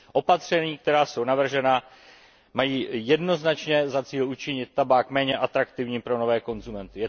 Opatření, která jsou navržena, mají jednoznačně za cíl učinit tabák méně atraktivním pro nové konzumenty.